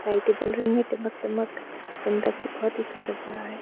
लाइटें जल रही हैं टिम्मक-टिम्मक सुंदर सी बहुत ही सुंदर जगह है।